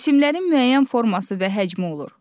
Cisimlərin müəyyən forması və həcmi olur.